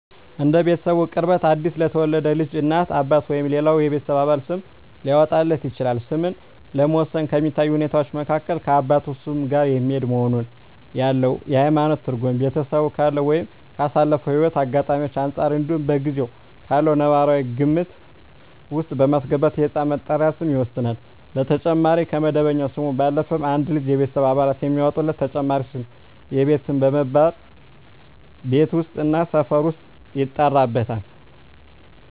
እንደ ቤተሰቡ ቅርበት አዲስ ለተወለደ ልጅ እናት፣ አባት ወይም ሌላው የቤተሰብ አባል ስም ሊያወጣለት ይችላል። ስምን ለመወሰን ከሚታዩ ሁኔታወች መካከል ከአባቱ ስም ጋር የሚሄድ መሆኑን፣ ያለው የሀይማኖት ትርጉም፣ ቤተሰቡ ካለው ወይም ካሳለፈው ህይወት አጋጣሚወች አንፃር እንዲሁም በጊዜው ካለው ነባራዊ ግምት ውስጥ በማስገባት የህፃን መጠሪያ ስም ይወሰናል። በተጨማሪም ከመደበኛ ስሙ ባለፈም አንድ ልጅ የቤተሰብ አባላት የሚያወጡለት ተጨማሪ ስም የቤት ስም በመባል ቤት ውስጥ እና ሰፈር ውስጥ ይጠራበታል።